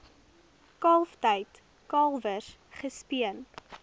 kalftyd kalwers gespeen